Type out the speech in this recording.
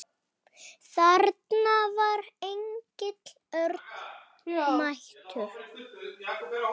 Þarna var Egill Örn mættur.